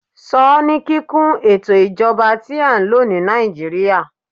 sọ ni kikun ètò ijoba ti a n lo ni nàìjíría